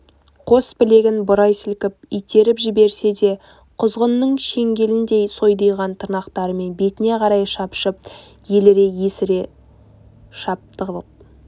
қос білегін бұрай сілкіп итеріп жіберсе де құзғынның шеңгеліндей сойдиған тырнақтарымен бетіне қарай шапшып еліре есіре шаптығып